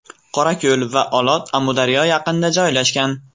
Qorako‘l va Olot Amudaryo yaqinida joylashgan.